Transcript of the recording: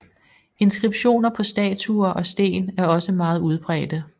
Inskriptioner på statuer og sten er også meget udbredte